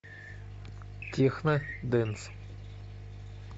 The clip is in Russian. техно дэнс